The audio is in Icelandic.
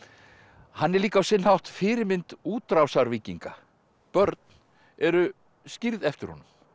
hann er líka á sinn hátt fyrirmynd útrásarvíkinga börn eru skírð eftir honum